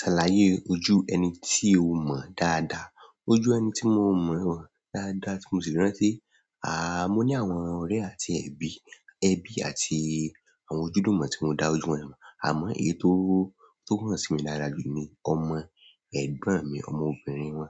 Ṣàlàyé ojú ẹni tí o mọ̀ dáadáa. Ojú ẹni tí mo mọ̀ dáadáa tí mo sì rántí, àáà, mo ní àwọn ọ̀rẹ́ àti ẹbí, ẹbí àti àwọn ojúdúmọ̀ tí mo dá ojú wọn mọ̀. Àmọ́ èyí tó, tó hàn sí mi dáadáa jù ní ọmọ ẹ̀gbọ́n mi, ọmọbìnrin wọn.